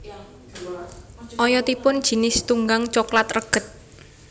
Oyotipun jinis tunggang coklat reged